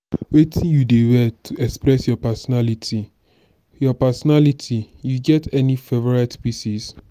wetin you dey wear to express your pesinality your pesinality you get any favorite pieces?